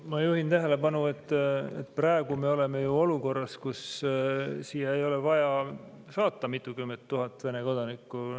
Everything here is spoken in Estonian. Ma juhin tähelepanu, et praegu me oleme ju olukorras, kus siia ei ole vaja saata mitukümmend tuhat Vene kodanikku.